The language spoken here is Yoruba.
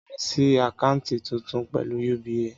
Màá ṣí àkáńtì tuntun pẹ̀lú UBA